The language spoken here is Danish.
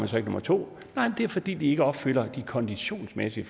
nummer to det er fordi de ikke opfylder de konditionsmæssige